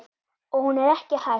Og hún er ekki hætt.